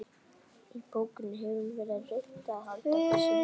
Í bókinni hefur verið reynt að halda þessu einkenni.